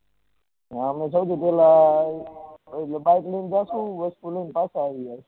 અમે સૌથી પેહલા bike લઇ ને જશુ વસ્તુ લઇ ને પાછા આવીશુ